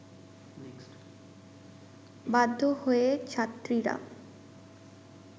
বাধ্য হয়ে ছাত্রীরা